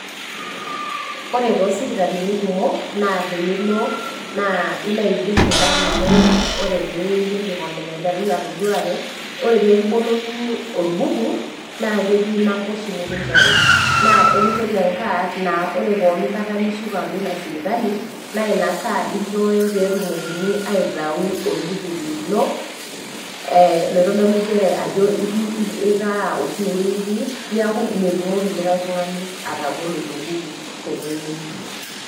Ore tosipitalini kumok na tenilo na ilo aiger nkarn inonok ,ore pekindip oldakitari ataduare ,ore pekibolokini orbuku na ketii namba oshi nikinchori, na ekinchori oshi encard na ore pookin kata nishuko alo inasipitali na inakard inchooyo petumokinibaitau orbuku lino e laitodolu nchere ajo itaa inewueji oshi itii neaku metumoki oltungani atabolo ilo buku teneme iyie.